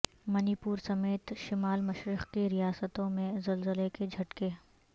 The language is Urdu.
منی پور سمیت شمال مشرق کی ریاستوں میں زلزلہ کے جھٹکے